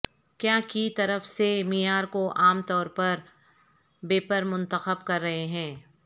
کیا کی طرف سے معیار کو عام طور پر بیپر منتخب کر رہے ہیں